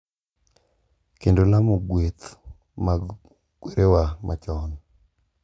Kendo lamo gueth mag kwerewa machon,